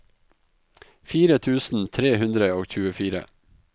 fire tusen tre hundre og tjuefire